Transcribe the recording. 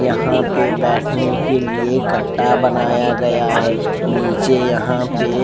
यहाँ पे बैठने के लिए कट्टा बनाया गया है नीचे यहाँ पे --